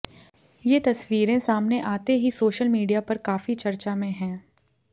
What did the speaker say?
ये तस्वीरें सामने आते ही सोशल मीडिया पर काफी चर्चा में हैं